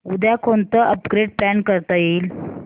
उद्या कोणतं upgrade plan करता येईल